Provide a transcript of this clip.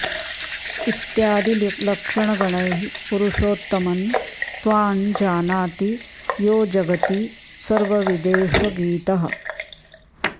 इत्यादि लक्षणगणैः पुरुषोत्तमं त्वां जानाति यो जगति सर्वविदेष गीतः